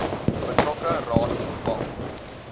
betrokke raad bepaal